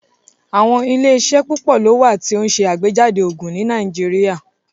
Àwọn ilẹ̀-iṣẹ pupọ̀ lo wà tí o n ṣe agbèjádé oogun ni Nàìjíríà